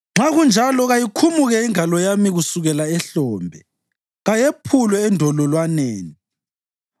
nxa kunjalo kayikhumuke ingalo yami kusukela ehlombe, kayephulwe endololwaneni.